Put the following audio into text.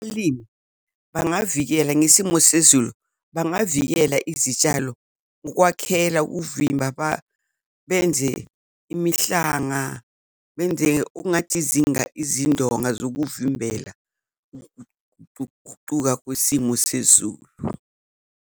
Umlimi bangavikela ngesimo sezulu, bangavikela izitshalo ukukwakhela ukuvimba benze imihlanga, benze okungathi izindonga zokuvimbela uk'guquka kwesimo sezulu.